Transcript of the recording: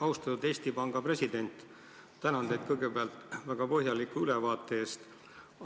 Austatud Eesti Panga president, tänan teid väga põhjaliku ülevaate eest!